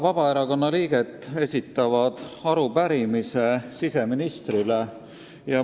Vabaerakonna kaheksa liiget esitavad arupärimise siseministrile.